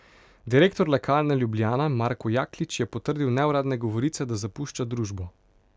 Direktor Lekarne Ljubljana Marko Jaklič je potrdil neuradne govorice, da zapušča družbo.